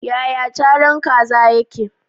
Yaya caran kaza yake?